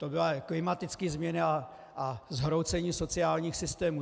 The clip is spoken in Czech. To byly klimatické změny a zhroucení sociálních systémů.